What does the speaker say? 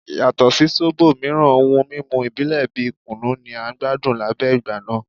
Yato si zobo miiran ohun mimu ibile bi kunu ni a gbadun lẹgbẹẹ igba naa